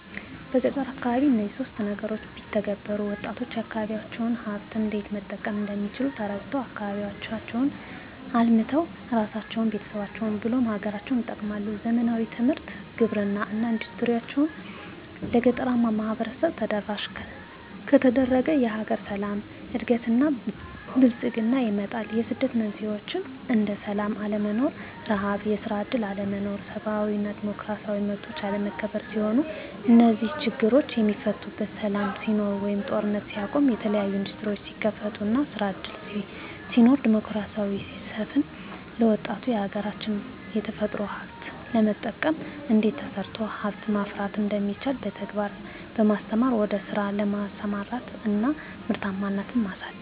በገጠር አካባቢ እነዚህን ሶስት ነገሮች ቢተገበሩ -ወጣቶች የአካባቢዎቻቸውን ሀብት እንዴት መጠቀም እንደሚችል ተረድተው አካባቢያቸውን አልምተው እራሳቸውን፤ ቤተሰቦቻቸውን ብሎም ሀገርን ይጠቅማሉ። ዘመናዊ ትምህርት፤ ግብርና እና ኢንዱስትሪዎች ለገጠራማው ማህበረሰብ ተደራሽ ከተደረገ የሀገር ሰላም፤ እድገት እና ብልፅግና ይመጣል። የስደት መንስኤዎች እንደ ስላም አለመኖር፤ ርሀብ፤ የስራ እድል አለመኖር፤ ሰብአዊ እና ዲሞክራሲያዊ መብቶች አለመከበር ሲሆኑ -እነዚህ ችግሮች የሚፈቱት ሰላም ሲኖር ወይም ጦርነት ሲቆም፤ የተለያዬ እንዱስትሪዎች ሲከፈቱ እና ስራ እድል ሲኖር፤ ዲሞክራሲ ሲሰፍን፤ ለወጣቱ የሀገራች የተፈጥሮ ሀብት በመጠቀም እንዴት ተሰርቶ ሀብት ማፍራት እንደሚቻል በተግባር በማስተማር ወደ ስራ በማሰማራት እና ምርታማነትን ማሳደግ።